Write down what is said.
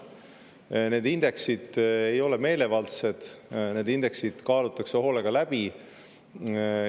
Need indeksid ei ole meelevaldsed, need indeksid kaalutakse hoolega läbi.